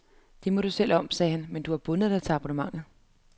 Det må du selv om, sagde han, men du har bundet dig til abonnementet.